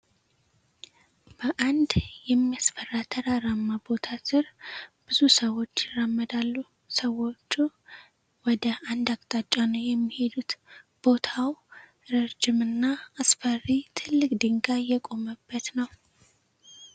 በአንድ የሚያስፈራ ተራራማ ቦታ ስር ብዙ ሰዎች ይራመዳሉ። ሰዎቹ ወደ አንድ አቅጣጫ ነው የሚሄዱት። ቦታው ረጅም እና አስፈሪ ትልቅ ድንጋይ የቆመበት ነው።